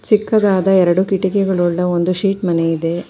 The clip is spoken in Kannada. ಚಿಕ್ಕದಾದ ಎರಡು ಕಿಟಕಿಗಳುಳ್ಳ ಒಂದು ಸೀಟ್ ಮನೆ ಇದೆ.